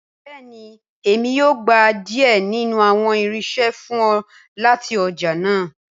Bẹẹni Emi yoo gba diẹ ninu awọn irinṣẹ fun ọ lati ọja naa.